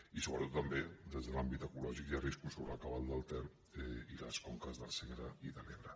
i sobretot també des de l’àmbit ecològic hi ha riscos sobre el cabal del ter i les conques del segre i de l’ebre